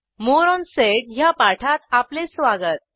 मोरे ओन सेड या पाठात आपले स्वागत